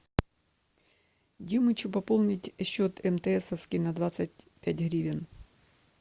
димычу пополнить счет мтсовский на двадцать пять гривен